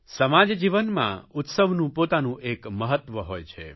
સમાજ જીવનમાં ઉત્સવનું પોતાનું એક મહત્વ હોય છે